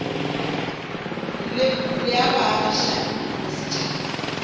le a baagišane le setšhaba